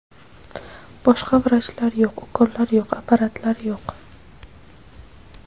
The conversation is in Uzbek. Boshqa vrachlar yo‘q, ukollar yo‘q, apparatlar yo‘q.